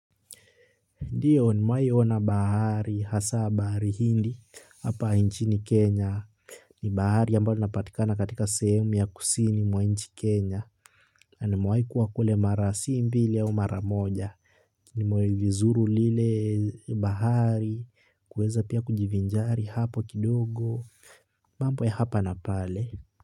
Ndiyo nimewahi ona bahari, hasa bahari hindi, hapa nchini Kenya. Ni bahari ambayo inapatikana katika sehemu ya kusini mwa nchi Kenya. Na nimewahi kuwa kule mara si mbili au mara moja. Nimewai vizuri lile bahari, kueza pia kujivinjari hapo kidogo. Mambo ya hapa na pale.